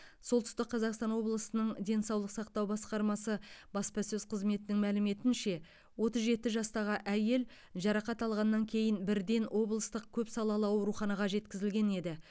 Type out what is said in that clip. солтүстік қазақстан облысының денсаулық сақтау басқармасы баспасөз қызметінің мәліметінше отыз жеті жастағы әйел жарақат алғаннан кейін бірден облыстық көпсалалы ауруханаға жеткізілген еді